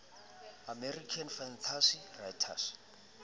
american fantasy writers